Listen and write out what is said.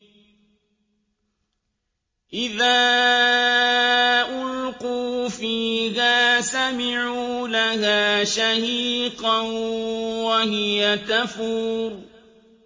إِذَا أُلْقُوا فِيهَا سَمِعُوا لَهَا شَهِيقًا وَهِيَ تَفُورُ